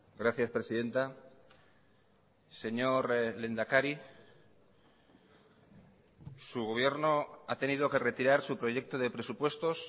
gracias presidenta señor lehendakari su gobierno ha tenido que retirar su proyecto de presupuestos